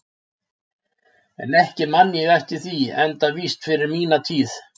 En ekki man ég eftir því enda víst fyrir mína tíð.